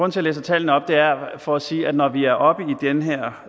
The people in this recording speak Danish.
at jeg læser tallene op er for at sige at når vi er oppe i den her